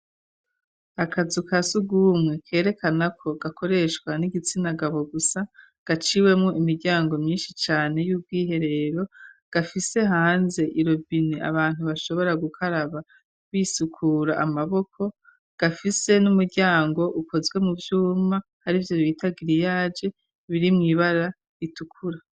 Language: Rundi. Akazu ka sugumwe kerekana ko gakoreshwa n'igitsina gabo gusa gaciwemo imiryango myinshi cane y'ubw'iherero, gafise hanze irobine abantu bashobora gukaraba bisukura amaboko, gafise n'umuryango ukozwe mu vyuma arivyo bita giriyaje biri mu ibara itukura.